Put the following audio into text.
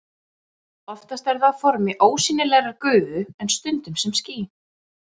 Dagsetningarnar vísa til þess þegar viðkomandi herforingi tók við stjórn.